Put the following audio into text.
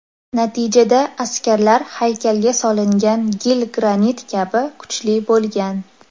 Natijada askarlar haykalga solingan gil granit kabi kuchli bo‘lgan.